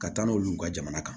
Ka taa n'olu ka jamana kan